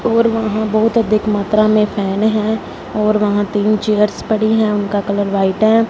और वहां बहुत अधिक मात्रा में फैन हैं और वहां तीन चेयर्स पड़ी हैं उनका कलर व्हाइट हैं।